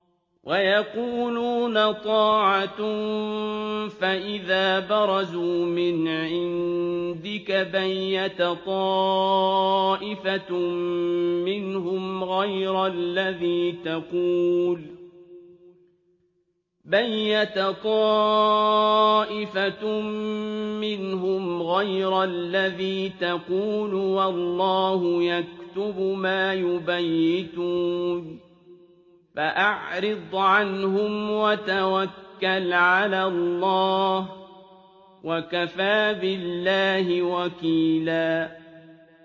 وَيَقُولُونَ طَاعَةٌ فَإِذَا بَرَزُوا مِنْ عِندِكَ بَيَّتَ طَائِفَةٌ مِّنْهُمْ غَيْرَ الَّذِي تَقُولُ ۖ وَاللَّهُ يَكْتُبُ مَا يُبَيِّتُونَ ۖ فَأَعْرِضْ عَنْهُمْ وَتَوَكَّلْ عَلَى اللَّهِ ۚ وَكَفَىٰ بِاللَّهِ وَكِيلًا